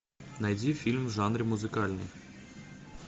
найди фильм в жанре музыкальный